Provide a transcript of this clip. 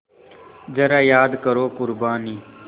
ज़रा याद करो क़ुरबानी